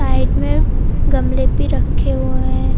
Side में गमले भी रखे हुए हैं।